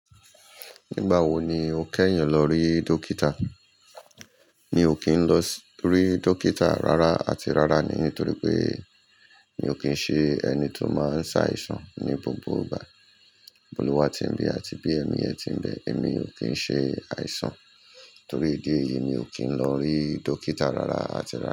Nígbà wo ni o kẹ́yìn lọ rí dókítà? Mi ò kí ń lọ rí dókítà rárá àti rárá ni nítorí pé mi ò kín ń ṣe ẹni tó máa ń ṣàìsàn ní gbogbo ìgbà. Olúwa ti ń bẹ àti bí èmi ẹ́ ti ń bẹ èmi ò ki ń ṣe àìsàn torí ìdí èyí èmi ò kín lọ rí dókítà rárá àti rárá.